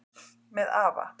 Með afa